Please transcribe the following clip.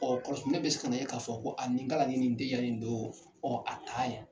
Ɔɔ kɔrɔ ne be se ka na e k'a fɔ ko a nin kalan ɲini nin den in don , ɔɔ a taa yɛ.